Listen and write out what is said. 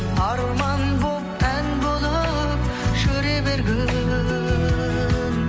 арман болып ән болып жүре бергің